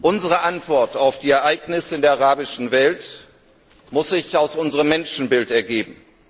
Unsere Antwort auf die Ereignisse in der arabischen Welt muss sich aus unserem Menschenbild ergeben.